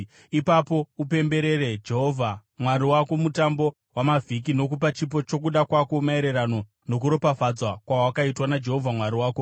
Ipapo upemberere Jehovha Mwari wako Mutambo waMavhiki nokupa chipo chokuda kwako maererano nokuropafadzwa kwawakaitwa naJehovha Mwari wako.